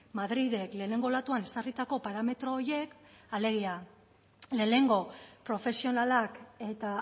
madrilek lehenengo olatuan ezarritako parametro horiek alegia lehenengo profesionalak eta